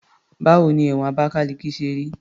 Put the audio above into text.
Báwo ni ẹ̀wọ̀n Abakaliki ṣe rí?